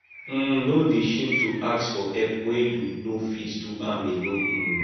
um no dey shame to ask for help wen you no fit do am alone um